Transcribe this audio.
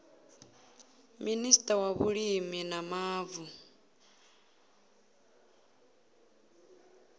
minista wa vhulimi na mavu